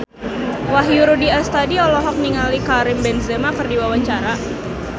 Wahyu Rudi Astadi olohok ningali Karim Benzema keur diwawancara